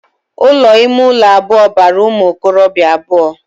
Ụlọ ime ụlọ abụọ bara ụmụ okorobia abụọ